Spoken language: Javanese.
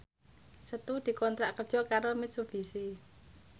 Setu dikontrak kerja karo Mitsubishi